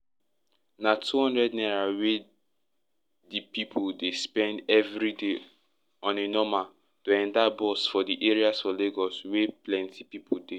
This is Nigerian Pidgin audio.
na 200 naira wey de pipu dey spend every day on a normal to enter bus for di areas for lagos wey plenty pipu dey